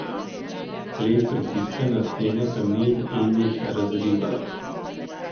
Led pritiska na stene kamnin in jih razriva.